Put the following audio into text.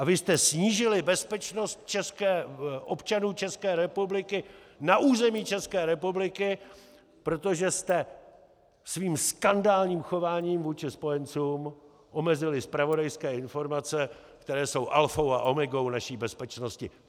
A vy jste snížili bezpečnost občanů České republiky na území České republiky, protože jste svým skandálním chováním vůči spojencům omezili zpravodajské informace, které jsou alfou a omegou naší bezpečnosti.